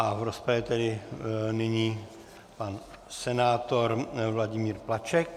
A v rozpravě tedy nyní pan senátor Vladimír Plaček.